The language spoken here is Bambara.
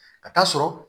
Ka taa sɔrɔ